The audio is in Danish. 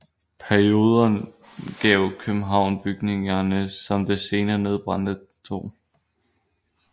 Perioden gav København bygninger som det senere nedbrændte 2